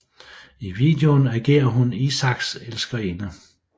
I videoen agerer hun Isaaks elskerinde